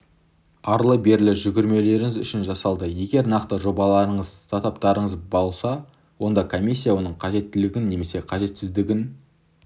арлы-берлі жүгірмеулеріңіз үшін жасалды егер нақты жобаларыңыз стартаптарыңыз болса онда комиссия оның қажеттілігін немесе қажетсіздігін